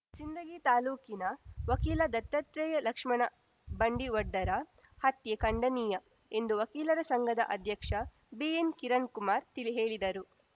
ಸಿಂದಗಿ ತಾಲೂಕಿನ ವಕೀಲ ದತ್ತಾತ್ರೇಯ ಲಕ್ಷ್ಮಣ ಬಂಡಿವಡ್ಡರ ಹತ್ಯೆ ಖಂಡನೀಯ ಎಂದು ವಕೀಲರ ಸಂಘದ ಅಧ್ಯಕ್ಷ ಬಿಎನ್‌ ಕಿರಣ್‌ಕುಮಾರ್‌ ತಿಳಿಹೇಳಿದರು